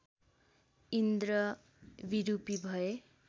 इन्द्र विरूपी भए